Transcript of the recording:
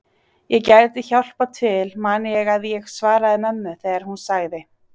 Ég gæti hjálpað til man ég að ég svaraði mömmu þegar hún sagði